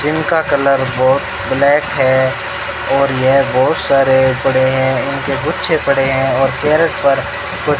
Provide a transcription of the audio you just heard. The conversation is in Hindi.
जिनका का कलर बहोत ब्लैक है और यह बहोत सारे पड़े हैं इनके गुच्छे पड़े हैं और कैरेट पर --